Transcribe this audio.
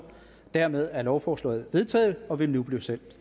dermed er lovforslaget vedtaget og vil nu blive sendt